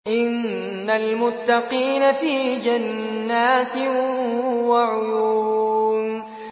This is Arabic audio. إِنَّ الْمُتَّقِينَ فِي جَنَّاتٍ وَعُيُونٍ